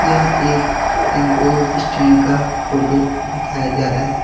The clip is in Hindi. यह एक टेंम्पो स्टैंड का फोटो दिखाया जा रहा है।